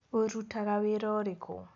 ũrutaga wĩra ũrikũ?